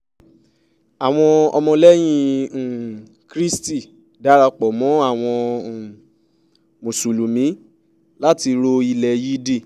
àwọn ọmọlẹ́yìn um kristi darapọ̀ mọ́ àwọn um mùsùlùmí láti ro ilẹ̀ yídì